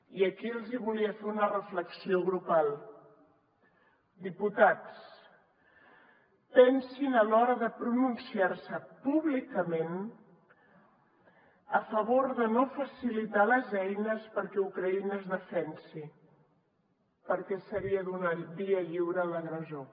i aquí els hi volia fer una reflexió grupal diputats pensin a l’hora de pronunciar se públicament a favor de no facilitar les eines perquè ucraïna es defensi perquè seria donar via lliure a l’agressor